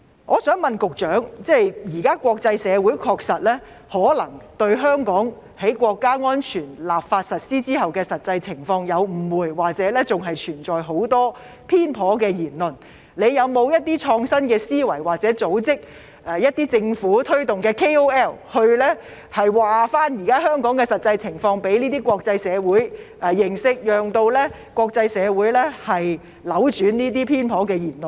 我想請問局長，現時國際社會可能對香港在《香港國安法》制定實施後的實際情況有誤會，或仍然存在很多偏頗言論，政府有否創新思維，組織推動一些 KOL， 將香港現在的實際情況告知國際社會，令國際社會扭轉這些偏頗言論？